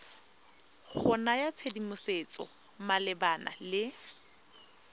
go naya tshedimosetso malebana le